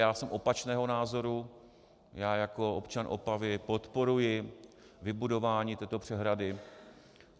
Já jsem opačného názoru, já jako občan Opavy podporuji vybudování této přehrady.